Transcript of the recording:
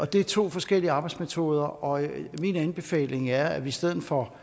det er to forskellige arbejdsmetoder og min anbefaling er at vi i stedet for